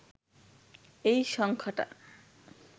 এই সংখ্যাটা